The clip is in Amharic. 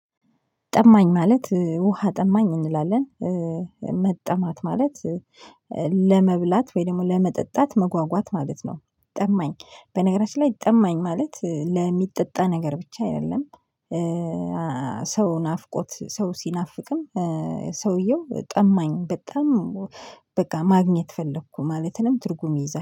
ጠማኝ ማለት ውሃ ጠማኝ እንላለን መጠማት ማለት። ለመብላት ወይ ለመጠጣት መጓጓት ማለት ነው። ጠማኝ በነገራችን ላይ ጠማኝ ማለት ለሚጠጣ ነገር ብቻ አይደለም። ሰው ናፍቆት ሰው ሲናፍቅም። ሰውየው ጠማኝ በጣም በቃ ማግኘት ፈለኩ ማለትንም ትርጉም ይዛል